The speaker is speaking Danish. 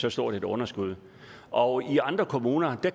så stort et underskud og i andre kommuner